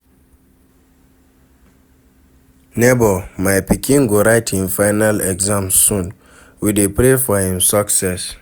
Nebor, my pikin go write him final exams soon, we dey pray for him success.